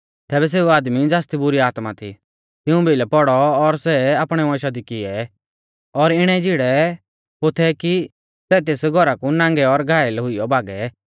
तैबै सेऊ आदमी ज़ासदी बुरी आत्मा थी तिऊं भिलै पौड़ौ और सै आपणै वंशा दी किऐ और इणै झिड़ैपोथै कि सै तेस घौरा कु नांगै और घायल हुइयौ भागै